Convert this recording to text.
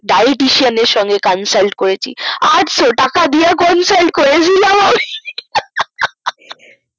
dietician এর সঙ্গে consult করেছি আটশো টাকা দিয়ে consult করেছিলাম আমি হা হা হা